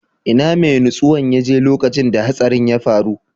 Ina mai nutsewan ya je lokacin da hatsarin ya faru?